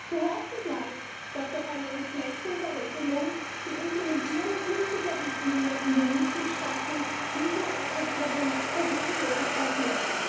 Zu hoffen bleibt, dass sich durch eine Entflechtung der Regelung die Implementierung künftiger Richtlinien in den Mitgliedstaaten diesmal etwas problemloser vollzieht.